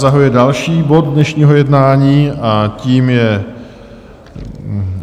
Zahajuji další bod dnešního jednání a tím je